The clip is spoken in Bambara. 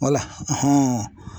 Wala